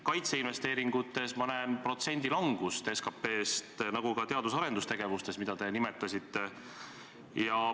Kaitseinvesteeringutes ma näen protsendi langust SKT-st, nagu ka teadus- ja arendustegevustes, mida te nimetasite.